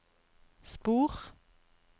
spor